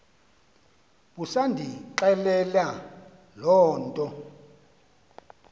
busandixelela loo nto